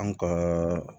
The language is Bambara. An ka